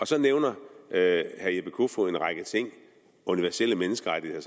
så nævner herre jeppe kofod en række ting universelle menneskerettigheder